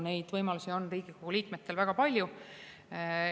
Neid võimalusi on Riigikogu liikmetel väga palju.